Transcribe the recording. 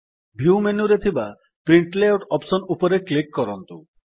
view ମେନୁରେ ଥିବା print layout option ଉପରେ କ୍ଲିକ୍ କରନ୍ତୁ